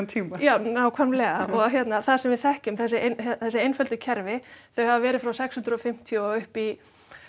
tíma já nákvæmlega og hérna það sem við þekkjum þessi þessi einföldu kerfi þau hafa verið frá sex hundruð og fimmtíu og upp í